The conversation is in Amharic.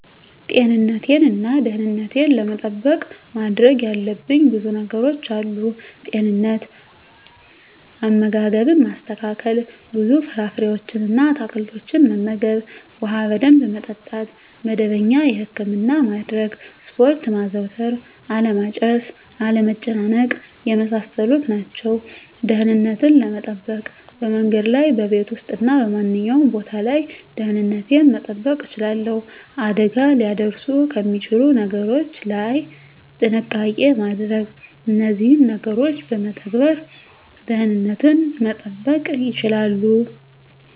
ጤንነቴን እና ደህንነቴን ለመጠበቅ ማድረግ ያለብኝ ብዙ ነገሮች አሉ፦ * ጤንነት፦ * አመጋገብን ማስተካከል፣ ብዙ ፍራፍሬዎችን እና አትክልቶችን መመገብ፣ ውሃ በደንብ መጠጣት፣ መደበኛ የህክምና ማድረግ፣ ስፖርት ማዘውተር አለማጨስ፣ አለመጨናነቅ የመሳሰሉት ናቸው። * ደህንነትን ለመጠበቅ፦ በመንገድ ላይ፣ በቤት ውስጥ እና በማንኛውም ቦታ ላይ ደህንነቴን መጠበቅ እችላለሁ። አደጋ ሊያደርሱ ከሚችሉ ነገሮች ላይ ጥንቃቄ ማድረግ እነዚህን ነገሮች በመተግበር ደህንነትን መጠበቅ ይቻላሉ።